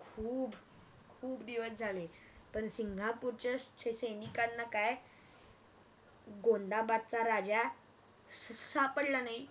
खूप दिवस झाले पण सिंगापूरच्या सैनिकांना काय अं गोंदाबादचा राजा अह सापडला नाही